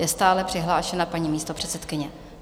Je stále přihlášena paní místopředsedkyně.